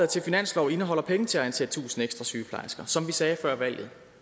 til finanslov indeholder penge til at ansætte tusind ekstra sygeplejersker som vi sagde før valget